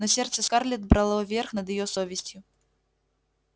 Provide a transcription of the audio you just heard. но сердце скарлетт брало верх над её совестью